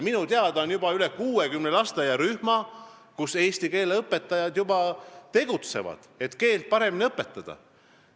Minu teada juba üle 60 lasteaiarühmas eesti keele õpetajad tegutsevad, et keelt paremini õpetada.